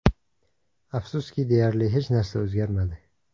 Afsuski, deyarli hech narsa o‘zgarmadi.